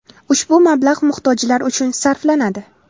Ushbu mablag‘ muhtojlar uchun sarflanadi.